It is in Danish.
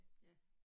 Ja